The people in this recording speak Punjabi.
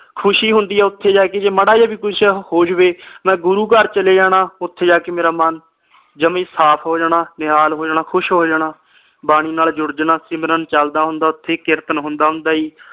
ਖੁਸ਼ੀ ਹੁੰਦੀ ਆ ਓਥੇ ਜਾ ਕੇ ਜੇ ਮਾੜਾ ਜਾ ਵੀ ਕੁਝ ਹੋ ਜਾਵੇ ਮੈਂ ਗੁਰੂ ਘਰ ਚਲੇ ਜਾਣਾ ਓਥੇ ਜਾ ਕੇ ਮੇਰਾ ਮਨ ਜਮਾ ਈ ਸਾਫ ਹੋ ਜਾਣਾ ਨਿਹਾਲ ਹੋ ਜਾਣਾ ਖੁਸ਼ ਹੋ ਜਾਣਾ ਬਾਣੀ ਨਾਲ ਜੁੜ ਜਾਣਾ ਸਿਮਰਨ ਚਲਦਾ ਹੁੰਦਾ ਓਥੇ ਕੀਰਤਨ ਹੁੰਦਾ ਹੁੰਦਾ ਆ ਜੀ